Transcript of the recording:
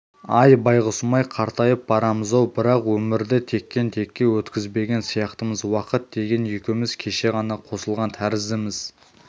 ай байғұсым-ай қартайып барамыз-ау бірақ өмірді тектен-текке өткізбеген сияқтымыз уақыт деген екеуміз кеше ғана қосылған тәріздіміз